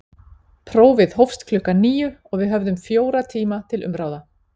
Prófið hófst klukkan níu og við höfðum fjóra tíma til umráða.